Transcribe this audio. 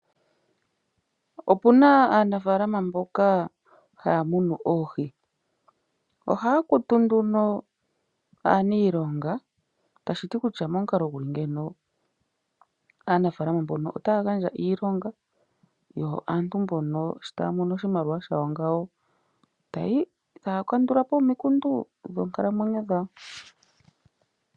Opuna aanafaalama mboka haya munu oohi. Ohaya kutu nduno aaniilonga tashi ti kutya momukalo guli ngeyi aanafaalama mbono otaya gandja iilonga yo aantu mbono sho taya mono oshimaliwa shawo ngawo, taya kandula po omikundu dhoonkalamwenyo dhawo.